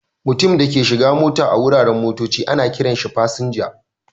Mutumin da ke shigan mota a wuraren motocci ana kiran shi" fasinja".